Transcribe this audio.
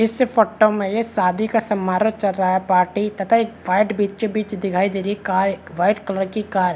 इस फोटो में ए शादी का समारोह चल रहा है पार्टी तथा एक वाइट बीचो बिच दिखाई दे रही है कार एक वाइट कलर की कार है।